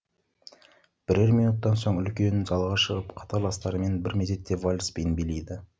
бірер минуттан соң үлкен залға шығып қатарластарымен бір мезетте вальс биін билейді